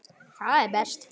Það er best.